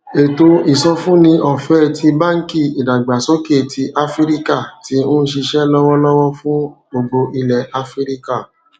ètò ìsọfúnni ọfẹẹ ti banki idagbasoke ti afirika ti n ṣiṣẹ lọwọlọwọ fun gbogbo ilẹ afirika